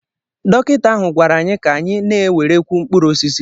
Dọkịta ahụ gwara anyị ka anyị na-ewerekwu mkpụrụ osisi